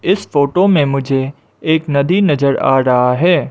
इस फोटो में मुझे एक नदी नजर आ रहा है।